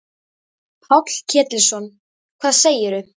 Páll Ketilsson: Hvað segirðu?